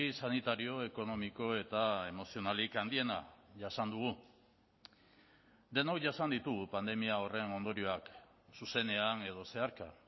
sanitario ekonomiko eta emozionalik handiena jasan dugu denok jasan ditugu pandemia horren ondorioak zuzenean edo zeharka